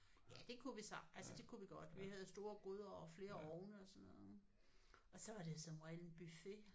Ja det kunne vi sagtens altså det kunne vi godt. Vi havde store gryder og flere ovne og sådan noget. Og så var det som regel en buffet